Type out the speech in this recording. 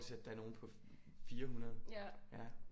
At der er nogle på 400 ja